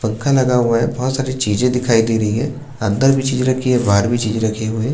पंखा लगा हुआ है बहुत साड़ी चीज़ें दिखाई दे रही हैं अंदर भी चीज़ रखी है बाहार भी चीजें रखी हुईं।